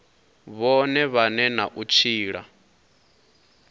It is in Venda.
vhone vhane na u tshila